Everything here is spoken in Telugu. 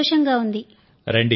చాలా సంతోషంగా ఉంది